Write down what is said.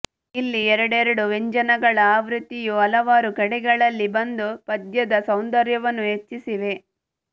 ಇಲ್ಲಿ ಎರಡೆರಡು ವ್ಯಂಜನಗಳ ಆವೃತ್ತಿಯು ಹಲವಾರು ಕಡೆಗಳಲ್ಲಿ ಬಂದು ಪದ್ಯದ ಸೌಂದರ್ಯವನ್ನು ಹೆಚ್ಚಿಸಿವೆ